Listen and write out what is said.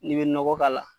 N'i bɛ nɔgɔ k'a la